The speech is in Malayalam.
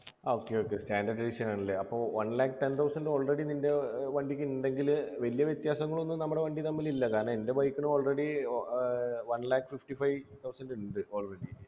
okay okay standard edition ആണല്ലേ അപ്പൊ one lakh ten thousand already നിൻ്റെ വണ്ടിക്ക്ണ്ടങ്കില് വല്യ വ്യത്യാസങ്ങളൊന്നും നമ്മടെ വണ്ടി തമ്മിലില്ല കാരണം എൻ്റെ bike നു already ഏർ one lakh fifty-five thousand ണ്ട് already